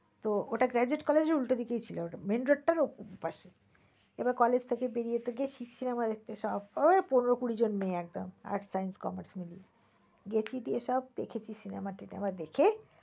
তো ওটা গেজেট college এর উল্টা দিকেই ছিল। main road টার opposite পাশে। এবার college থেকে বেরিয়ে তো গেছি cinema দেখতে সব ওই পনের কড়ি মেয়ে একদম arts, science, commerce মিলে। গেছি তো সব দেখেছি cinema টিনেমা দেখে